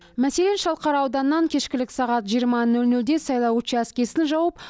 мәселен шалқар ауданынан кешкілік сағат жиырма нөл нөлде сайлау учаскесін жауып